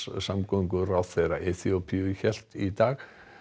samgönguráðherra Eþíópíu hélt í dag